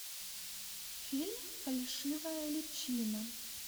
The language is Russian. фильм фальшивая личина